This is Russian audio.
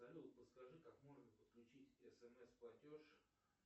салют подскажи как можно подключить смс платеж